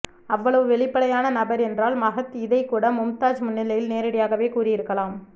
அவ்வளவு வெளிப்படையான நபர் என்றால் மஹத் இதை கூட மும்தாஜ் முன்னிலையில் நேரடியாகவே கூறி இருக்கலாம்